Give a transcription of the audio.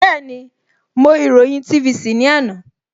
Bẹ́ẹ̀ni, mo ìròyìn TVC ní àná